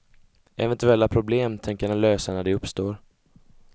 Eventuella problem tänker han lösa när de uppstår.